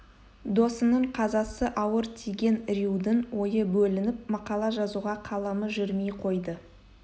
досының қазасы ауыр тиген рьюдың ойы бөлініп мақала жазуға қаламы жүрмей қойды